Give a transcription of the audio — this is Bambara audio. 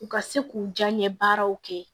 U ka se k'u janɲɛ baaraw kɛ